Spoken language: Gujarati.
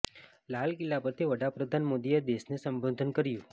લાલ કિલ્લા પરથી વડાપ્રધાન મોદીએ દેશને સંબોધન કર્યું